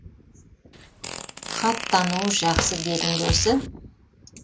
хат тануы жақсы дедің бе осы